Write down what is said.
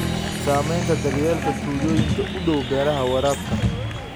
Saamaynta daryeelka tuulooyinka u dhow beeraha waraabka.